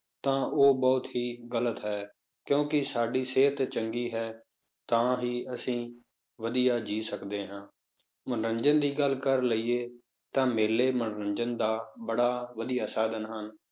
ਤਾਂ ਉਹ ਬਹੁਤ ਹੀ ਗ਼ਲਤ ਹੈ, ਕਿਉਂਕਿ ਸਾਡੀ ਸਿਹਤ ਚੰਗੀ ਹੈ, ਤਾਂ ਹੀ ਅਸੀਂ ਵਧੀਆ ਜੀਅ ਸਕਦੇ ਹਾਂ ਮਨੋਰੰਜਨ ਦੀ ਗੱਲ ਕਰ ਲਈਏ ਤਾਂ ਮੇਲੇ ਮਨੋਰੰਜਨ ਦਾ ਬੜਾ ਵਧੀਆ ਸਾਧਨ ਹਨ,